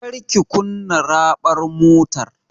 Kar ki kunna raɓar mutar!